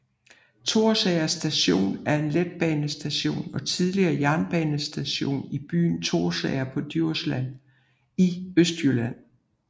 Thorsager Station er en letbanestation og tidligere jernbanestation i byen Thorsager på Djursland i Østjylland